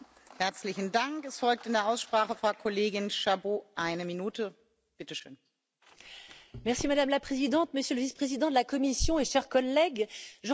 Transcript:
Madame la Présidente, Monsieur le Vice président de la Commission, chers collègues, je rentre aussi de Madrid et je voudrais vous faire part de mon sentiment mitigé parce que nous aurions, effectivement, pu nous attendre à plus d'ambition.